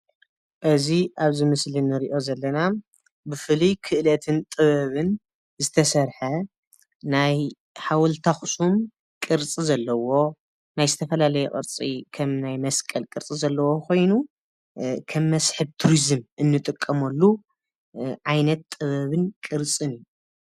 እዚ ኣብዚ ምስሊ እንሪኦ ዘለና ብፍሉይ ክእለትን ጥበብን ዝተሰርሐ ናይ ሓወልቲ ኣኽሱም ቅርፂ ዘለዎ ናይ ዝተፈላለየ ቅርፂ ከም ናይ መስቀል ቅርፂ ዘለዎ ኾይኑ ከም መስሕብ ቱሪዝም እንጥቀመሉ ዓይነት ጥበብን ቅርፅን